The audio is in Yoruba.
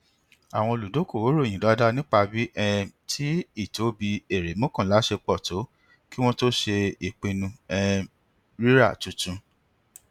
àwọn olùdokoowo ròyìn dáadáa nípa bíi um tí ìtóbi èrè mọkànlá ṣe pọ tó kí wọn tó ṣe ìpinnu um rírà tuntun